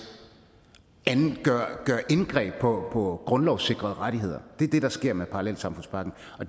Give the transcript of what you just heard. gøre indgreb på grundlovssikrede rettigheder det er det der sker med parallelsamfundspakken